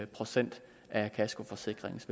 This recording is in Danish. procent af kaskoforsikringens